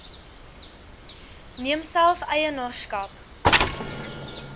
neem self eienaarskap